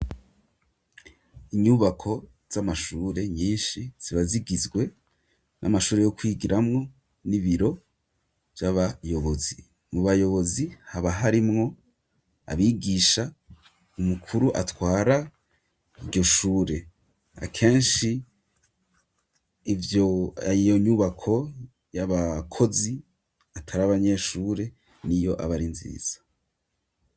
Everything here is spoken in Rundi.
Inyubako z'amashure nyinshi zibazigizwe n'amashure yo kwigiramwo n'ibiro vy'abayobozi mu bayobozi haba harimwo abigisha umukuru atwara iryo shure akenshi ivyo yiyonyubako y'abakozi atari abanyeshure n'iyo abari nziza.